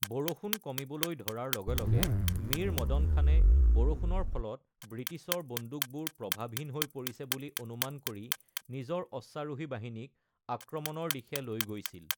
বৰষুণ কমিবলৈ ধৰাৰ লগে লগে মীৰ মদন খানে বৰষুণৰ ফলত ব্ৰিটিছৰ বন্দুকবোৰ প্ৰভাৱহীন হৈ পৰিছে বুলি অনুমান কৰি নিজৰ অশ্বাৰোহী বাহিনীক আক্ৰমণৰ দিশে লৈ গৈছিল।